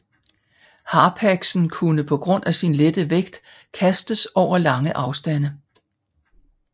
Harpaxen kunne på grund af sin lette vægt kastes over lange afstande